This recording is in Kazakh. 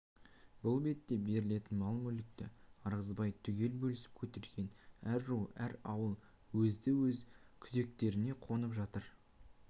бұл ретте берілетін мал-мүлікті ырғызбай түгел бөлісіп көтерген әр ру әр ауыл өзді-өз күзектеріне қонып жатыр